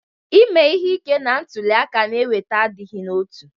Ime ihe ike na ntuli aka na-eweta adịghị n'otu